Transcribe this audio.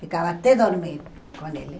Ficava até dormir com ele.